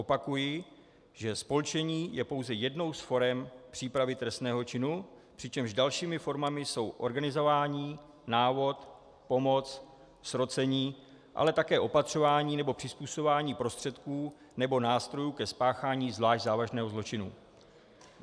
Opakuji, že spolčení je pouze jednou z forem přípravy trestného činu, přičemž dalšími formami jsou organizování, návod, pomoc, srocení, ale také opatřování nebo přizpůsobování prostředků nebo nástrojů ke spáchání zvlášť závažného zločinu.